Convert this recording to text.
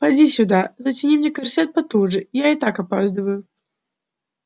поди сюда затяни мне корсет потуже я и так опаздываю